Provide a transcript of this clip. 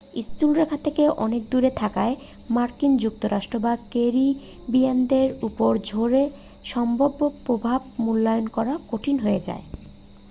স্থলরেখা থেকে অনেক দূরে থাকায় মার্কিন যুক্তরাষ্ট্র বা ক্যারিবিয়ানদের উপর ঝড়ের সম্ভাব্য প্রভাব মূল্যায়ন করা কঠিন হয়ে যায়